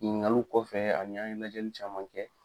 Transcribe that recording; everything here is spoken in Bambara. Ŋiningaluw kɔfɛ ani an ye lajɛli caman kɛ